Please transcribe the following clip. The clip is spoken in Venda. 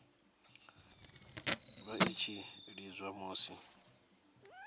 vha i tshi lidziwa musi